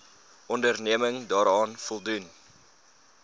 onderneming daaraan voldoen